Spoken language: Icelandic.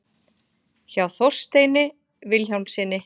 hjá þorsteini vilhjálmssyni